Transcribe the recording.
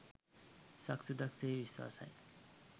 සක්සුදක් සේ විශ්වාසයි.